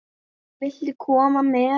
Viltu koma með?